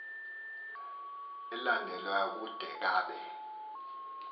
elandelayo kude kabe